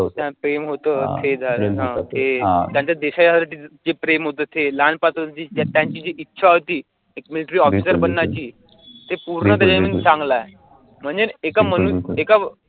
प्रेम होत ते झालं, त्यांच देशावरती जे प्रेम होतं ते लहानपासुन जी त्यांची जी इच्छा होती एक military officer बनण्याची ते पूर्ण त्याच्यामध्ये चांगलं आहे.